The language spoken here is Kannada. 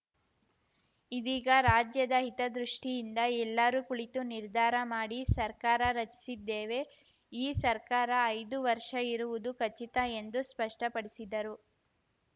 ಇದೀಗ ರಾಜ್ಯದ ಹಿತದೃಷ್ಟಿಯಿಂದ ಎಲ್ಲರೂ ಕುಳಿತು ನಿರ್ಧಾರ ಮಾಡಿ ಸರ್ಕಾರ ರಚಿಸಿದ್ದೇವೆ ಈ ಸರ್ಕಾರ ಐದು ವರ್ಷ ಇರುವುದು ಖಚಿತ ಎಂದು ಸ್ಪಷ್ಟಪಡಿಸಿದರು